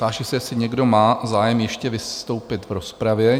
Táži se, jestli někdo má zájem ještě vystoupit v rozpravě?